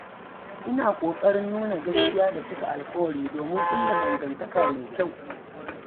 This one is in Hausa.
Ina kokarin nuna gaskiya da cika alkawura domin kulla dangantaka mai kyau.